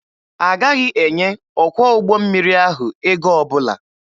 Agaghị enye ọkwọ ụgbọ mmiri ahụ ego ọbụla.